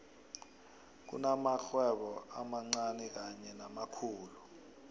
kunamakghwebo amancani kanye namakhulu